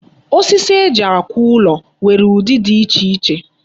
Osisi eji akụ ụlọ nwere udi di iche iche.